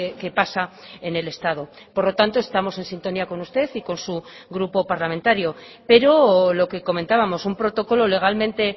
que pasa en el estado por lo tanto estamos en sintonía con usted y con su grupo parlamentario pero lo que comentábamos un protocolo legalmente